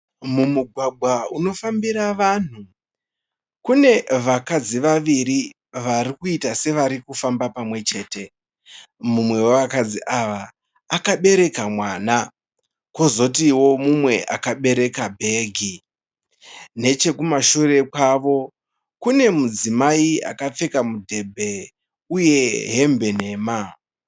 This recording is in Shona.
Mumugwagwa unofambira vanhu. Kune vakadzi vaviri varikuita sevari kufamba pamwechete. Mumwe wevakadzi ava akabereka mwana, kozotiwo mumwe akabereka bhegi. Nechekumashure kwavo kune mudzimai akapfeka mudhebhe uye hembe nhema.